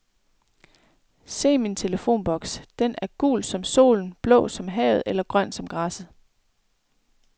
Se min telefonboks, den er gul som solen, blå som havet eller grøn som græsset.